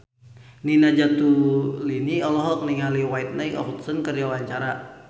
Nina Zatulini olohok ningali Whitney Houston keur diwawancara